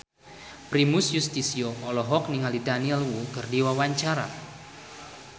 Primus Yustisio olohok ningali Daniel Wu keur diwawancara